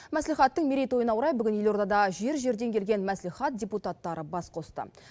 мәслихаттың мерейтойына орай бүгін елордада жер жерден келген мәслихат депутаттары бас қосты